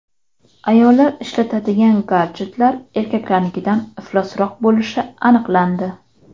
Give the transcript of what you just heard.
Ayollar ishlatadigan gadjetlar erkaklarnikidan iflosroq bo‘lishi aniqlandi.